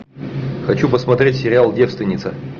хочу посмотреть сериал девственица